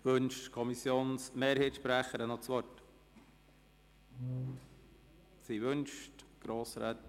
Wünscht die Sprecherin der Kommissionsmehrheit nochmals das Wort?